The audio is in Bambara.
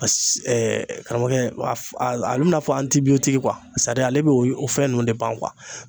A karamɔgɔkɛ a a a bɛ i n'a fɔ ale bɛ o fɛn ninnu de ban